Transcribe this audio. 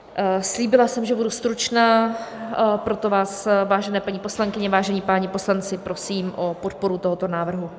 Slíbila jsem, že budu stručná, proto vás, vážené paní poslankyně, vážení páni poslanci, prosím o podporu tohoto návrhu.